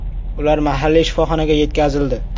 Ular mahalliy shifoxonaga yetkazildi.